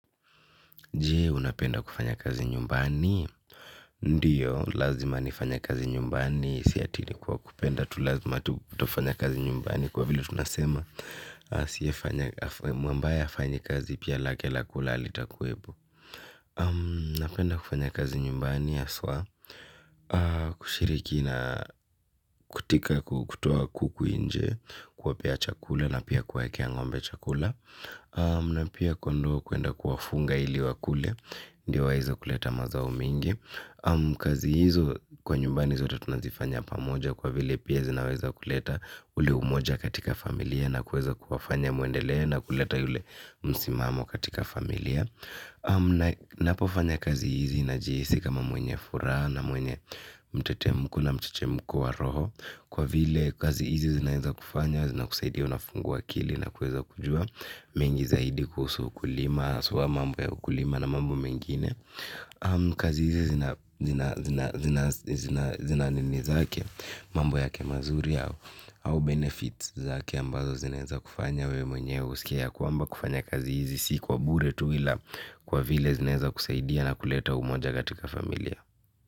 Jee, unapenda kufanya kazi nyumbani? Ndiyo, lazima nifanye kazi nyumbani, si ati ni kwa kupenda, tu lazima tufanya kazi nyumbani kwa vile tunasema. Sia mwambaye afanyi kazi pia lake la kula alitakuwepo. Napenda kufanya kazi nyumbani, haswa, kushiriki na kutika kutoa kuku nje, kuwapea chakula na pia kuwakea ng'ombe chakula. Na pia kondoo kuenda kuwafunga ili wakule ndio waweza kuleta mazao mingi kazi hizo kwa nyumbani zote tunazifanya pamoja kwa vile pia zinaweza kuleta ule umoja katika familia na kuweza kuwafanya muendelee na kuleta yule msimamo katika familia napofanya kazi hizi najihisi kama mwenye furaha na mwenye mtetemko na mchechemko wa roho kwa vile kazi hizi zinaweza kufanya zinakusaidia kufungua akili na kuweza kujua mengi zaidi kuhusu ukulima haswa mambo ya ukulima na mambo mengine. Kazi zi zina nini zake, mambo yake mazuri au au benefits zake ambazo zinaweza kufanya wewe mwenye uskie ya kwamba kufanya kazi hizi. Si kwa bure tu ila kwa vile zinaweza kusaidia na kuleta umoja katika familia.